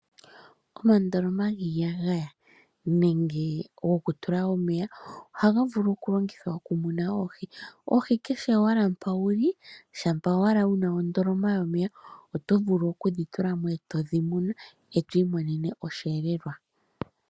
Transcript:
Omandoloma giiyagaya nenge goku tula omeya ohaga vulu oku longithwa oku muna oohi, kehe pamwe mpa wuli shampa wuna ondoloma yomeya oto vulu kudhi tulamo oto munine mo oshiyelelwa.